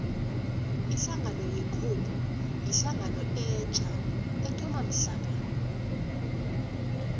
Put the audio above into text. ihlangano ye cope yihlangano etja ethoma mhlapha